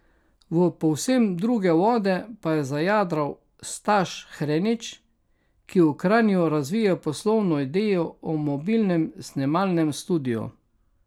V povsem druge vode pa je zajadral Staš Hrenić, ki v Kranju razvija poslovno idejo o mobilnem snemalnem studiu.